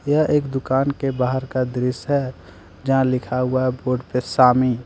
यह एक दुकान के बाहर का दृश्य है जहां लिखा हुआ है बोर्ड पे सामी ।